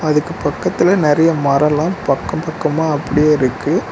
இதுக்கு பக்கத்துல நறிய மரோலா பக்கம் பக்கமா அப்படியே இருக்கு.